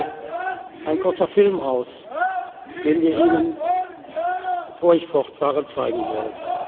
Dr. Mukwege ein kurzer Film aus, den wir Ihnen, bevor ich fortfahre, zeigen wollen.